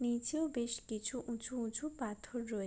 নিচেও বেশ কিছু উঁচু উঁচু পাথর রয়ে--